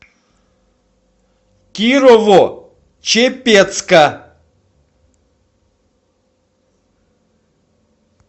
кирово чепецка